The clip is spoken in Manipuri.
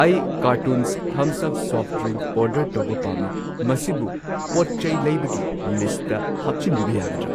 ꯑꯩ ꯀꯥꯔꯇꯨꯟꯁ ꯊꯝꯁ ꯑꯞ ꯁꯣꯐꯠ ꯗ꯭ꯔꯤꯡꯛ ꯑꯣꯔꯗꯔ ꯇꯧꯕ ꯄꯥꯝꯃꯤ, ꯃꯁꯤꯕꯨ ꯄꯣꯠꯆꯩ ꯂꯩꯕꯒꯤ ꯂꯤꯁꯠꯇ ꯍꯥꯞꯆꯤꯟꯕꯤꯕ ꯌꯥꯒꯗ꯭ꯔꯥ?